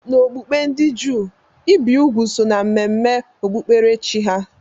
N'okpukpe ndị Juu, ibi úgwù so na mmemme okpukperechi ha